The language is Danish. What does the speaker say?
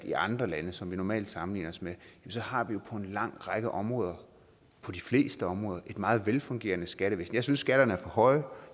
i andre lande som vi normalt sammenligner os med har vi jo på en lang række områder på de fleste områder et meget velfungerende skattevæsen jeg synes skatterne er for høje og